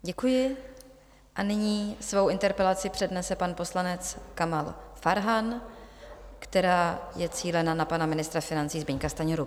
Děkuji a nyní svou interpelaci přednese pan poslanec Kamal Farhan, která je cílena na pana ministra financí Zbyňka Stanjuru.